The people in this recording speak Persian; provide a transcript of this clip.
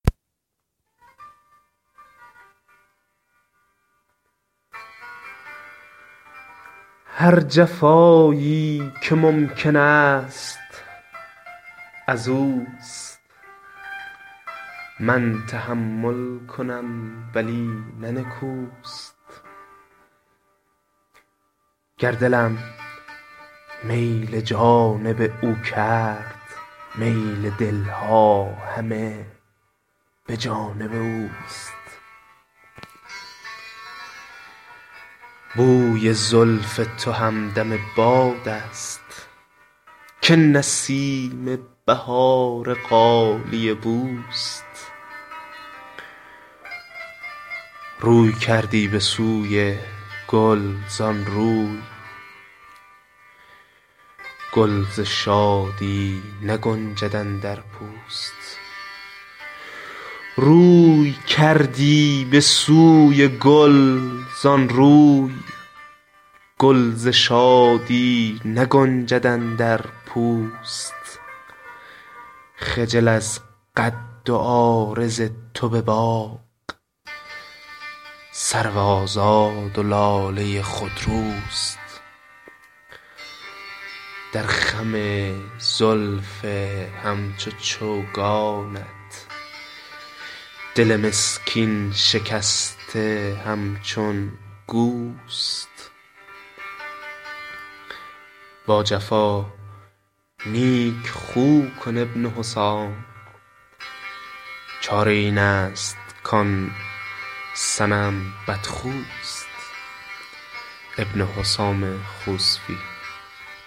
هر جفایی که ممکن است ازوست من تحمل کنم ولی نه نکوست گر دلم میل جانب او کرد میل دل ها همه به جانب اوست بوی زلف تو همدم بادست که نسیم بهار غالیه بوست روی کردی به سوی گل زان روی گل ز شادی نگنجد اندر پوست خجل از قد و عارض تو به باغ سرو آزاد و لاله خودروست در خم زلف همچو چوگانت دل مسکین شکسته همچون گوست با جفا نیک خو کن ابن حسام چاره این است کان صنم بدخوست